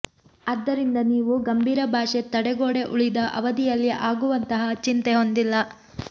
ಆದ್ದರಿಂದ ನೀವು ಗಂಭೀರ ಭಾಷೆ ತಡೆಗೋಡೆ ಉಳಿದ ಅವಧಿಯಲ್ಲಿ ಆಗುವಂತಹ ಚಿಂತೆ ಹೊಂದಿಲ್ಲ